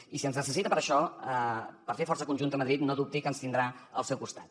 i si ens necessita per a això per fer força conjunta a madrid no dubti que ens tindrà al seu costat